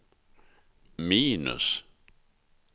minus